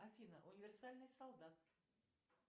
афина универсальный солдат